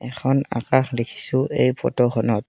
এখন আকাশ দেখিছোঁ এই ফটোখনত।